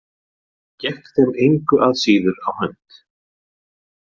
Gekk þeim engu að síður á hönd.